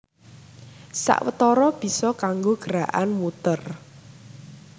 Sawetara bisa kanggo gerakan muter